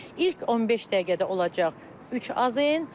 İlk 15 dəqiqədə olacaq 3 AZN.